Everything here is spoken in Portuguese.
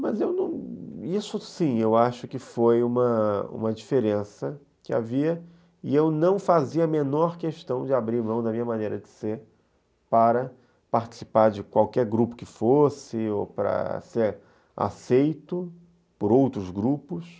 Mas eu não... Isso sim, eu acho que foi uma uma diferença que havia e eu não fazia a menor questão de abrir mão da minha maneira de ser para participar de qualquer grupo que fosse ou para ser aceito por outros grupos.